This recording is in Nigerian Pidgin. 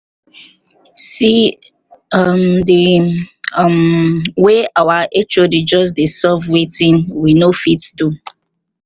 see um the um way our hod just dey solve wetin we no fit do um